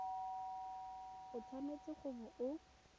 o tshwanetse go bo o